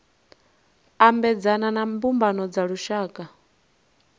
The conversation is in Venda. ambedzana na mbumbano dza lushaka